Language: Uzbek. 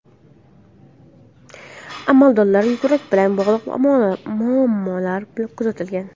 Amaldorda yurak bilan bog‘liq muammolar kuzatilgan.